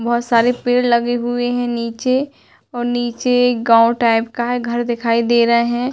बहुत सारे पेड़ लगे हुए हैं नीचे और नीचे एक गांव टाइप का है घर दिखाई दे रहे हैं।